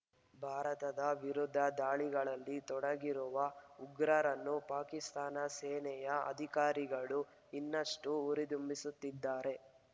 ಭಾರತದ ವಿರುದ್ಧ ದಾಳಿಗಳಲ್ಲಿ ತೊಡಗಿರುವ ಉಗ್ರರನ್ನು ಪಾಕಿಸ್ತಾನ ಸೇನೆಯ ಅಧಿಕಾರಿಗಳು ಇನ್ನಷ್ಟು ಉರಿದುಂಬಿಸುತ್ತಿದ್ದಾರೆ